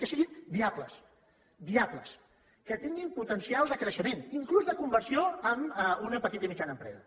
que siguin viables viables que tinguin potencial de creixement inclús de conversió en una petita i mitjana empresa